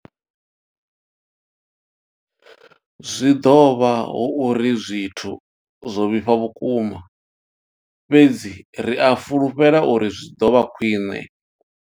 Zwi ḓo vha hu uri zwithu zwo vhifha vhukuma, fhedzi ri a fhulufhela uri zwi ḓo vha khwiṋe.